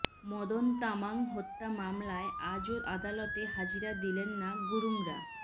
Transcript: মদন তামাং হত্যা মামলায় আজও আদালতে হাজিরা দিলেন না গুরুঙরা